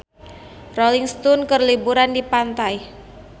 Rolling Stone keur liburan di pantai